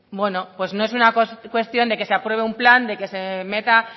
por lo tanto pues no es una cuestión de que se apruebe un plan de que se meta